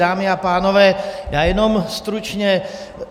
Dámy a pánové, já jenom stručně.